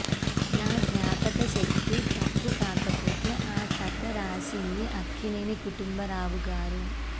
నా జ్ఞాపక శక్తి తప్పు కాకపోతే ఆ కథ రాసింది అక్కినేని కుటుంబ రావు గారు